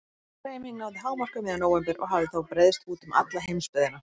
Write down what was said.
Sú hreyfing náði hámarki um miðjan nóvember og hafði þá breiðst út um alla heimsbyggðina.